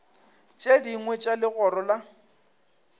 tše dingwe tša legoro la